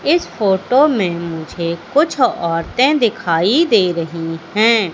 इस फोटो में मुझे कुछ औरतें दिखाई दे रही है।